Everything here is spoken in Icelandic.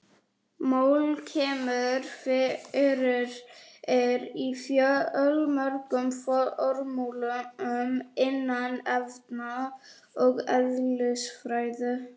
Mól kemur fyrir í fjölmörgum formúlum innan efna- og eðlisfræði.